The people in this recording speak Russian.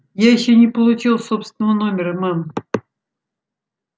я ещё не получил собственного номера мэм